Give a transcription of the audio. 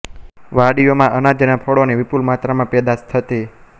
વાડીઓમાં અનાજ અને ફળોની વિપુલ માત્રામાં પેદાશ થતી